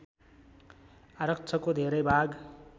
आरक्षको धेरै भाग